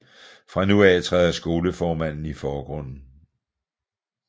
Fra nu af træder skolemanden i forgrunden